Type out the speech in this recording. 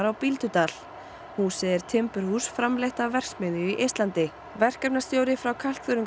á Bíldudal húsið er timburhús framleitt af verksmiðju í Eistlandi verkefnastjóri frá